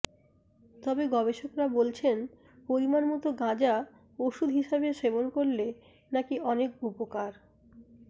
তবে গবেষকরা বলছেন পরিমাণ মতো গাঁজা ওষুধ হিসেবে সেবন করলে নাকি অনেক উপকার